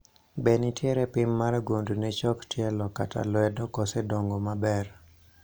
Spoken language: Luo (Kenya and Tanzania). be nitiere pim mar gund ne chok tielo kata lwedo koso dongo maber?